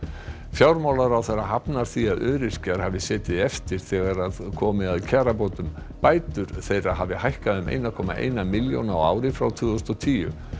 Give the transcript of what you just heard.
fjármálaráðherra hafnar því að öryrkjar hafi setið eftir þegar komi að kjarabótum bætur þeirra hafi hækkað um eitt komma eina milljón á ári frá tvö þúsund og tíu